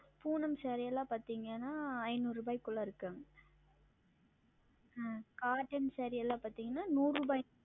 பூணம் Saree எல்லாம் பாத்தீங்கன்னா ஐந்நூறு ரூபாய்க்குள்ளே இருக்கு ஆஹ் Cotton Saree எல்லாம் பாத்தீங்கன்னா நூறு ரூபாய்